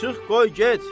Çıx, qoy get!